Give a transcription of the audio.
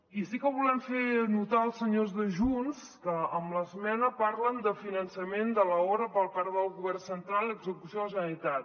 i sí que ho volem fer notar als senyors de junts que amb l’esmena parlen de finançament de l’obra per part del govern central i execució de la generalitat